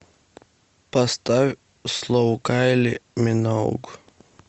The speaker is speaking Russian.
поставь слоу кайли миноуг